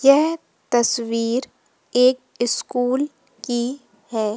यह तस्वीर एक स्कूल की है।